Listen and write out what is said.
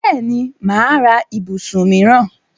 Bẹ́ẹ̀ni, mà á ra ibùsùn míìràn